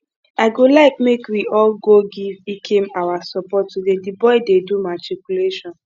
i go like make we all go give ikem our support today the boy dey do matriculation